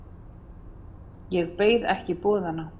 Ég beið ekki boðanna.